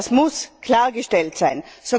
Das muss klargestellt sein.